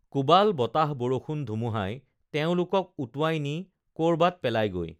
কোবাল বতাহ বৰষুণ ধুমুহাই তেওঁলোকক উটুৱাই নি কৰবাত পেলায়গৈ